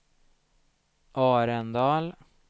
Arendal